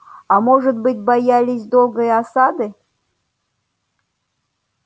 а может быть боялись долгой осады